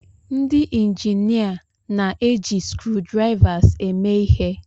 Ndị injinia na-eji screwdrivers eme ihe.